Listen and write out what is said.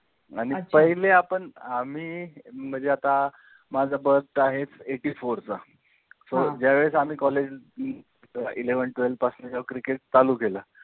आणि पहिले आपण अ आम्ही म्हणजे आता मजा birth आहे eighty four चा SO ज्या वेळेस आम्ही college eleven twelve पासुन जेव्हा CRICKET चालू केला